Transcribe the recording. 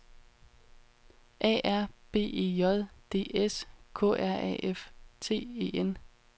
A R B E J D S K R A F T E N